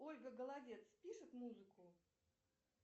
ольга голодец пишет музыку